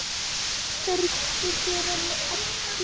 Hann þrýsti henni að sér.